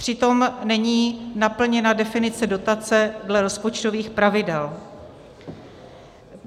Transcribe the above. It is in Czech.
Přitom není naplněna definice dotace dle rozpočtových pravidel.